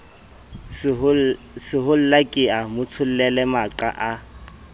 sehollake a motsholele maqa a